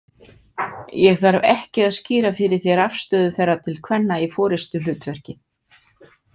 Ég þarf ekki að skýra fyrir þér afstöðu þeirra til kvenna í forystuhlutverki.